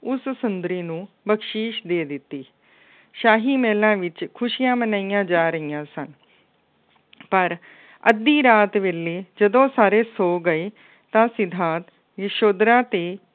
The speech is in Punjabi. ਉਸ ਸੁੰਦਰੀ ਨੂੰ ਬਖਸ਼ੀਸ਼ ਦੇ ਦਿੱਤੀ। ਸ਼ਾਹੀ ਮਹਿਲਾਂ ਵਿੱਚ ਖੁਸ਼ੀਆਂ ਮਨਾਈਆਂ ਜਾ ਰਹੀਆਂ ਸਨ। ਪਰ ਅੱਧੀ ਰਾਤ ਵੇਲੇ ਜਦੋਂ ਸਾਰੇ ਸੌ ਗਏ, ਤਾਂ ਸਿਧਾਰਥ ਯਸੋਧਰਾ ਅਤੇ